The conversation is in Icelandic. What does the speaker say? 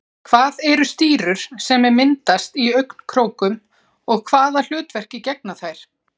Hvað eru stírur sem myndast í augnkrókum og hvaða hlutverki gegna þær?